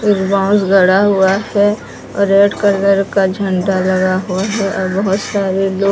एक बांस गड़ा हुआ है और रेड कलर का झंडा लगा हुआ है और बहोत सारे लोग--